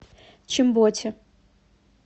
чимботе